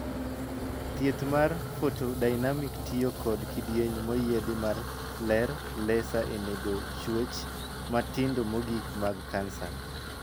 Thieth mar 'photodynamic' tiyo kod kidieny moyiedhi mar ler 'laser' e nego chuech matindo mogik mag kansa.